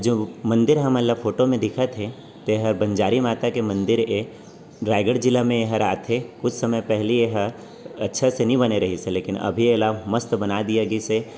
जो मंदिर हमन ला फोटो मे दिखत हे तेहर बंजारी माता के मंदिर ए रायगढ़ जिला मे एहर आथे कुछ समय पहले एहा अच्छा से नी बने रहिस हे लेकिन अभी ये ला मस्त बना दिया गिस हे।